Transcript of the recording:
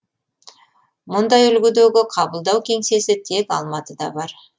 мұндай үлгідегі қабылдау кеңсесі тек алматыда бар